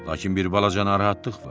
Lakin bir balaca narahatlıq var.